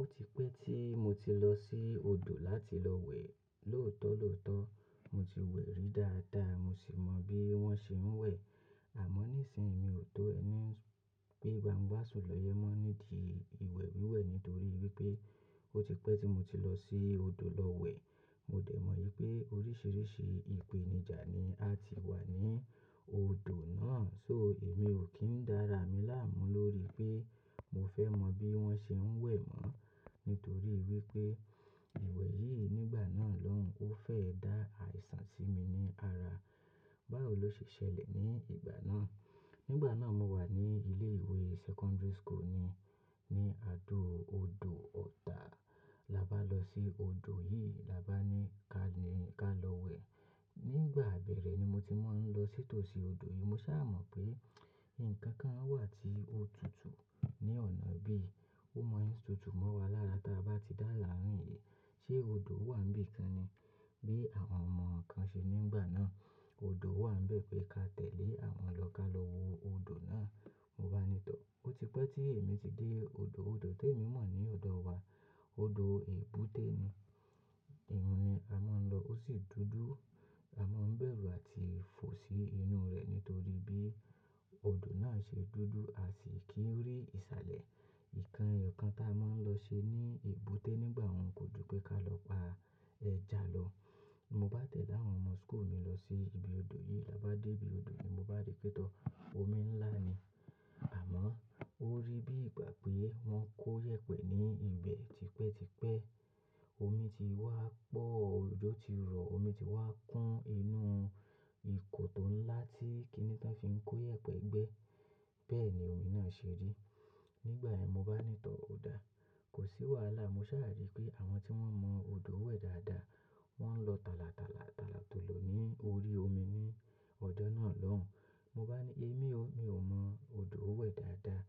Ó ti pẹ́ tí mo ti lọ sí odò láti lọ wẹ̀. Lóòótọ́ lóòótọ́ mo ti wẹ̀ rí dáadáa, mo sì mọ bí wọ́n ṣe ń wẹ̀. Àmọ́ nísinyi mi ò tó ẹni pé gbangba sùn lọ́yẹ mọ́ nídìí ìwẹ̀ wíwẹ̀ nítorí wípé ó ti pẹ́ tí mo ti lọ sí odò lọ wẹ̀. Mo dẹ̀ mọ̀ wípé oríṣiríṣi ìpèníjà ni a ti wà ní odò náà. Só èmi ò kí ń dára mi láàmú lórí pé mo fẹ́ mọ̀ bí wọ́n ṣe ń wẹ̀ mọ́ nítorí wípé ìwẹ̀ yìí nígbà náà lóhùn ó fẹ́ dá àìsàn sí mi ní ara. Báwo ló ṣe ṣẹlẹ̀ ní ìgbà náà? Nígbà náà mo wà ní ilé ìwé secondary school ni, ní àdo odò Ọ̀tà. Labá lọ sí odò yìí labá ni ká lọ wẹ̀. Nígbà abẹ́rẹ́ ni mo ti mo ń lọ sítò sí odò yìí. Mo sá à mọ̀ pé nǹkan kan wà tí ó tutù ní ọ̀nà bí i. Ó mọ ń tutù mọ́ wa lára ta a bá ti dá láàrín yii. Ṣé odò wà níbìkan ni bí àwọn ọmọ kan ṣe nígbà náà? Odò wà nbẹ̀ pé ká tẹ̀lé àwọn lọ ká lọ wo odò náà. Mo bá ní tọ̀, ó ti pẹ́ tí èmi ti dé odò. Odò te èmi mọ̀ ní ọ̀dọ̀ wa. Odò èbúté ni. Ìyun ni a máa ń lọ. Ó sì dúdú. A máa ń bẹ̀rù àti fò sí inú rẹ̀ nítorí bí odò náà ṣe dúdú à sì kì í rí ìsàlẹ̀. Nǹkan eyo kan tá a máa ń lọ ṣe ní èbúté nígbà wọ́n kò ju pé ká lọ pa ẹja lọ. Mo bá tẹ̀lé àwọn ọmọ school mi lọ sí ibi odò yìí. Tabá dé ibi odò ni mo bá rí pé tọ́, omi ńlá ni. Àmọ́ ó rí bí ìgbà pé wọ́n kó yèpẹ̀ ní ibẹ̀ tipẹ́ tipẹ́. Omi ti wá pọ̀, ojo ti rọ̀, omi ti wá kún inú ìkò tó ńlá tí kíni tán fi ń kó yèpẹ̀ gbẹ. Bẹ́ẹ̀ ni omi náà ṣe rí. Nígbà yẹ́n mo bá ní tọ̀, ò dà. Kò sí wàhálà. Mo sá à rí pé àwọn tí wọ́n mọ odò wẹ̀ dáadáa wọ́n ń lọ tàlà tàlà tàlà tòlò ní orí omi ní ọjọ́ náà lóhùn. Mo bá ni èmi ó, mi ò mọ odò wẹ̀ dáadáa.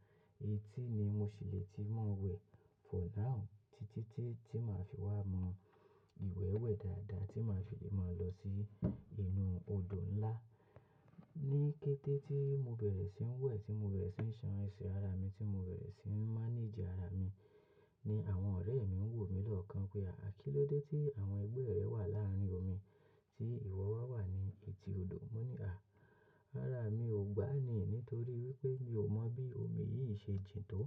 Eti ni mo ṣì lè ti mo wẹ̀ for now títí tí, tí màá fi wá mọ ìwẹ̀ wẹ̀ dáadáa tí màá fi lè máa lọ sí inú odò ńlá. Ni kété tí mo bẹ̀rẹ̀ sí ń wẹ̀, tí mo bẹ̀rẹ̀ sí ń ṣan ẹsẹ̀ ara mi, tí mo bẹ̀rẹ̀ sí ń manage ara mi ni àwọn ọ̀rẹ́ mi ń wò mí lọ́kàn pé àkílóde tí àwọn ẹgbẹ́ rẹ wà láàrín omi tí ìwọ wá wà ní etí odò? Mo ní à, ara mi ò gbá ni nítorí wípé mi ò mọ bí omi yìí ṣe jìn tó.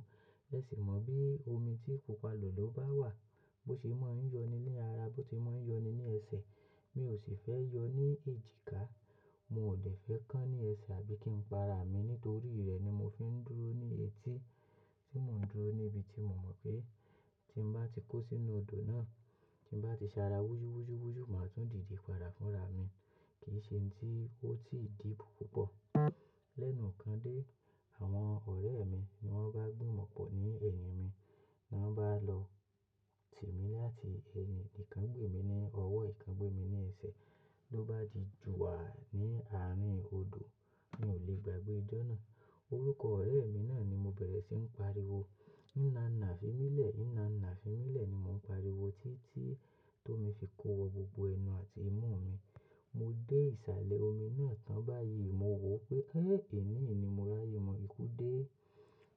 Ẹ sì mọ bí omi tí kò palọ̀ ló bá wà bó ṣe máa ń yọni ní ara, bó ti máa ń yọni ní ẹsẹ̀. Mi ò sì fẹ́ yọ ní èjìká. Mo ò de fẹ́ kán ní ẹsẹ̀ àbí kí n pa ara mi. Nítorí rẹ̀ ni mo fi ń dúró ní etí. Tí mo ń dúró níbi tí mo mọ̀ pé tí n bá ti kó sínú odò náà, tí n bá ti sa ara wujú wujú wujú, màá tún dìde padà fúnra mi. Kì í ṣe tí ó tí ì deep púpọ̀. Lẹ́nuùkan dé, àwọn ọ̀rẹ́ mi ni wọ́n bá gbi mòpọ̀ ní ẹ̀yìn mi. Ni wọ́n bá lọ tì mí láti ẹni ìkan gbé mi ní ọwọ́, ìkan gbé mi ní ẹsẹ̀. Lo ó bá di ju wàá ní àárín odò, mi ò lè gbàgbé ijó náà. Orúkọ ọ̀rẹ́ mi náà ni mo bẹ̀rẹ̀ sí ń pariwo. "Ina ina" fi mí lẹ̀, "ina ina" fi mí lẹ̀ ni mò ń pariwo títí tó mi fi kó wọ gbogbo ẹnu àti imú mi. Mo dé ìsàlẹ̀ omi náà tán. Báyìí mo wò ó pé ẹ́ èní ni mo ra aye, mo ikú dé.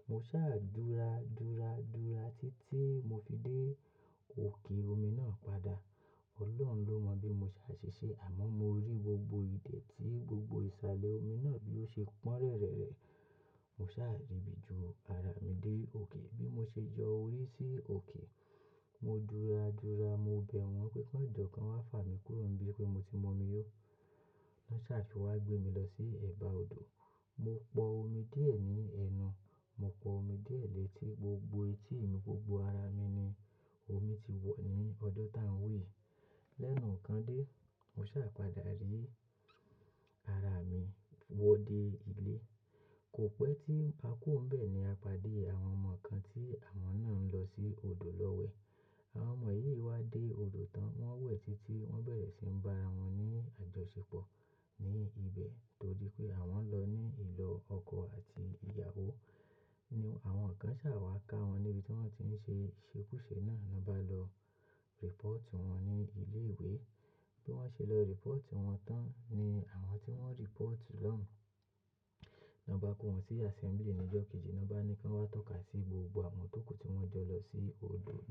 Mo sá à dúra dúra dúra títí mo fi dé òkè omi náà padà. Ọlọ́run ló mọ̀ bí mo ṣe á ṣe ṣe. Àmọ́ mo rí gbogbo idẹ̀ ti gbogbo ìsàlẹ̀ omi náà bí ó ṣe pọ́n rẹ́rẹ́. Mo sá à rìbí ju ara mi dé òkè. Bí mo ṣe yọ orí sí òkè, mo dúra dúra. Mo bẹ̀ wọ́n pé kan jọ kan wá fà mí kúrò níbí pé mo ti mu mi yó. Wọ́n sá à fi wá gbé mi lọ sí ẹ̀bá odò. Mo pọ omi díẹ̀ ní ẹnu. Mo pọ omi díẹ̀ létí. Gbogbo etí mi, gbogbo ara mi ni omi ti wọ̀ ní ọjọ́ tá ń wi yìí. Lẹ́nuùkan dé, mo sá à padà rí ara mi wọ dé ilé. Kò pẹ́ tí a ku o ń bẹ̀ ní a padé àwọn ọmọ kan tí àwọn náà ń lọ sí odò lọ wẹ̀. Àwọn ọmọ yìí wá dé odò tán. Wọ́n wẹ̀ títí wọ́n bẹ̀rẹ̀ sí ń bá ara wọn ní àjọṣepọ̀ ní ibẹ̀ torí pé àwọn lọ ní ìlò ọkọ àti ìyàwó. Ni àwọn kan sá wá ká wọn níbi tí wọ́n ti ń ṣe ṣekúṣe náà. Wọ́n bá lọ report wọn ní ilé ìwé. Bí wọ́n ṣe lọ report wọn tán ni àwọn tí wọ́n report lóhùn. Na bá kó wọn sí assembly ní ìjọ kejì. Na bá ni kí wọ́n wá tọ́ka sí gbogbo àwọn tó ku ti wọ́n jọ lọ sí odò náà.